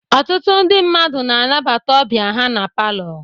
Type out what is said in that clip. Ọtụtụ ndị mmadụ na-anabata ndị ọbịa ha na Palọ